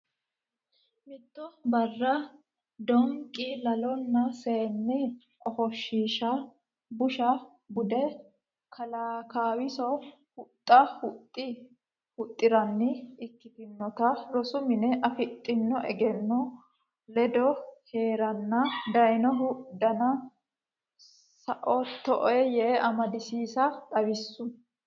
Mitto barra Doonqi Laalono seenne ofoshshiisha busha bude Kalaa Kaawiso huxxa huxxi ranni ikkitinota rosu mine afidhino egenno ledo hee reenna daynohu danna saoottoe yee amadisiisse xawissu.